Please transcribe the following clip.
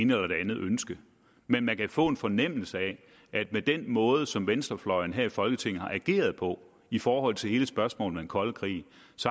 ene eller det andet ønske men man kan få en fornemmelse af at med den måde som venstrefløjen her i folketinget har ageret på i forhold til hele spørgsmålet om den kolde krig